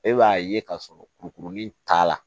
E b'a ye ka sɔrɔ kurukurunin t'a la